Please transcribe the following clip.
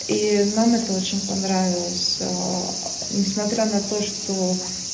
и нам это очень понравилось несмотря на то что